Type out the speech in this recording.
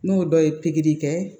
N'o dɔ ye pikiri kɛ